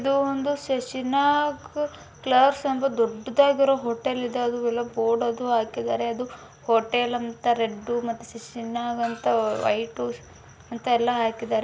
ಇದು ಒಂದು ದೊಡ್ಡದಾದ ಶಶಿನ ಹೋಟೆಲ್ ಅಂತ ಬೋರ್ಡ್ ಹಾಕವ್ರೆ ಹೋಟೆಲ್ ಅಂತ ರೆಡ್ ಮತ್ತೆ ವೈಟ್ ಅಲ್ಲಿ ಹಾಕೋರೆ.